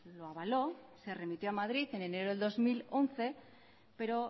lo avaló se remitió a madrid en enero del dos mil once pero